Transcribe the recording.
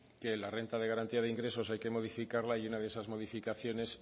que la renta de garantía de ingresos hay que modificarla y una de esas modificaciones